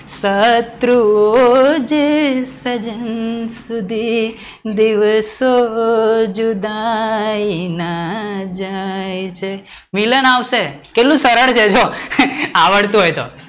શત્રુઓ જ સજ્જન સુધી દિવસો જુદાઈ ના જાય મિલન આવે કેટલું સરળ છે આવડતું હોય તો